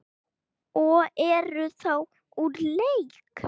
og eru þá úr leik.